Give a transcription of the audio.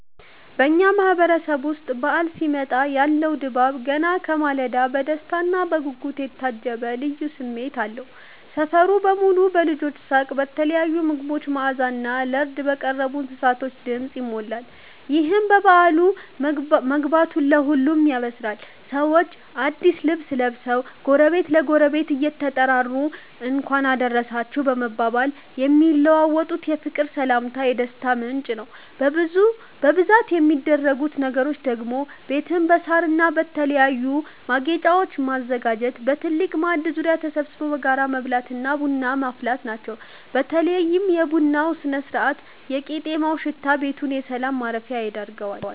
በኛ ማህበረሰብ ዉስጥ በዓል ሲመጣ ያለው ድባብ ገና ከማለዳው በደስታና በጉጉት የታጀበ ልዩ ስሜት አለው። ሰፈሩ በሙሉ በልጆች ሳቅ፤ በተለያዩ ምግቦች መዓዛና ለርድ በቀረቡ እንስሳቶች ድምፅ ይሞላል። ይህም በዓሉ መግባቱን ለሁሉም ያበስራል። ሰዎች አዲስ ልብስ ለብሰው፣ ጎረቤት ለጎረቤት እየተጠራሩ "እንኳን አደረሳችሁ" በመባባል የሚለዋወጡት የፍቅር ሰላምታ የደስታው ምንጭ ነው። በብዛት የሚደረጉት ነገሮች ደግሞ ቤትን በሳርና በተለያዩ ማጌጫወች ማዘጋጀት፣ በትልቅ ማዕድ ዙሪያ ተሰብስቦ በጋራ መብላትና ቡና ማፍላት ናቸው። በተለይ የቡናው ስነ-ስርዓትና የቄጤማው ሽታ ቤቱን የሰላም ማረፊያ ያደርገዋል።